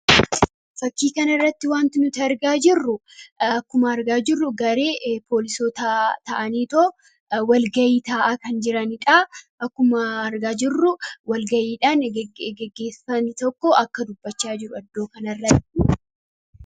Fakkii kana irratti wanti nuti argaa jirru akkuma argaa jirru garii poolisoo ta'aniitoo walgayii taa'aa kan jiraniidha akkuma argaa jirru walgayiidhaan geggeessanii tokko akka dubbachaa jiru iddoo kanarratti.